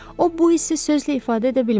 O bu hissi sözlə ifadə edə bilməzdi.